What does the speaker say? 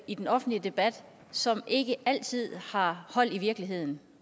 i den offentlige debat som ikke altid har hold i virkeligheden